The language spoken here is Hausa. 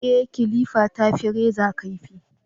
Ee, kilifa ta fi reza kaifi